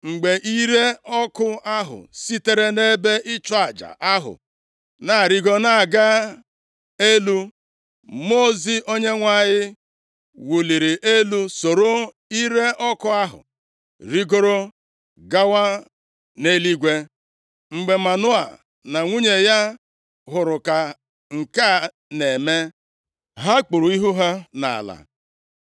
Mgbe ire ọkụ ahụ sitere nʼebe ịchụ aja ahụ na-arịgo na-aga elu, Mmụọ ozi Onyenwe anyị wụliri elu soro ire ọkụ ahụ rigoro gawa nʼeluigwe! Mgbe Manoa na nwunye ya hụrụ ka nke a na-eme, ha kpuru ihu ha nʼala.